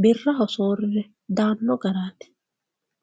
birraho soorire daano garati.